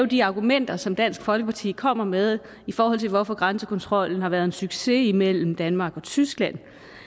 de argumenter som dansk folkeparti kommer med i forhold til hvorfor grænsekontrollen har været en succes mellem danmark og tyskland